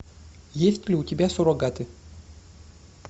есть ли у тебя суррогаты